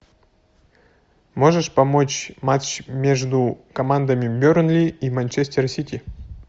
можешь помочь матч между командами бернли и манчестер сити